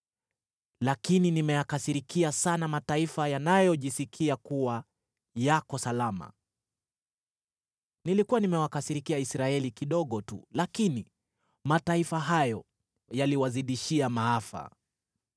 lakini nimeyakasirikia sana mataifa yanayojisikia kuwa yako salama. Nilikuwa nimewakasirikia Israeli kidogo tu, lakini mataifa hayo yaliwazidishia maafa.’